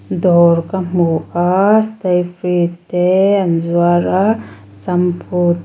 dawr ka hmu a stayfree te an zuar a shampoo --